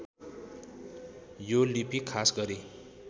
यो लिपि खास गरी